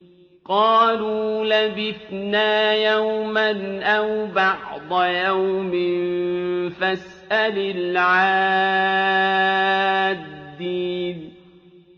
قَالُوا لَبِثْنَا يَوْمًا أَوْ بَعْضَ يَوْمٍ فَاسْأَلِ الْعَادِّينَ